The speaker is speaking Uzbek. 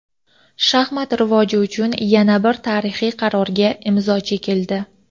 Shaxmat rivoji uchun yana bir tarixiy qarorga imzo chekildi.